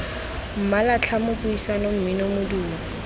mmala tlhamo puisano mmino modumo